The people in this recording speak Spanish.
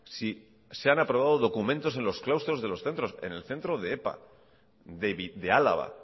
si se han aprobado documentos en los claustros de los centros en el centro de epa de álava